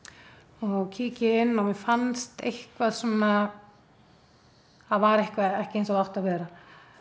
og kíki inn og mér fannst eitthvað svona það var eitthvað ekki eins og það átti að vera